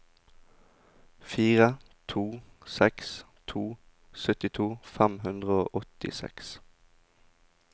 fire to seks to syttito fem hundre og åttiseks